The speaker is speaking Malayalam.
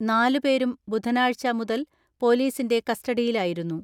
നാലുപേരും ബുധനാഴ്ച മുതൽ പോലീസിന്റെ കസ്റ്റഡിയിലായിരുന്നു.